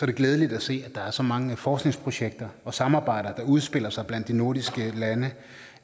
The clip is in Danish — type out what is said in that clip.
glædeligt at se at der er så mange forskningsprojekter og samarbejder der udspiller sig blandt de nordiske lande